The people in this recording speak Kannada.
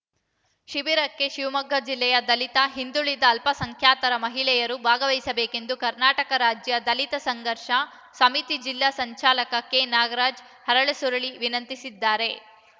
ಶಿಬಿರಕ್ಕೆ ಶಿವಮೊಗ್ಗ ಜಿಲ್ಲೆಯ ದಲಿತ ಹಿಂದುಳಿದ ಅಲ್ಪಸಂಖ್ಯಾತರ ಮಹಿಳೆಯರು ಭಾಗವಹಿಸಬೇಕೆಂದು ಕರ್ನಾಟಕ ರಾಜ್ಯ ದಲಿತ ಸಂಘರ್ಷ ಸಮಿತಿ ಜಿಲ್ಲಾ ಸಂಚಾಲಕ ಕೆನಾಗರಾಜ್‌ ಅರಳಸುರಳಿ ವಿನಂತಿಸಿದ್ದಾರೆ